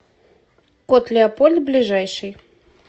кот леопольд ближайший